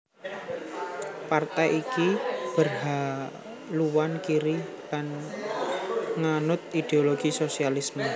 Partai iki berhaluan kiri lan nganut ideologi sosialisme